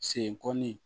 Sen kɔnɔni